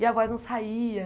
E a voz não saía.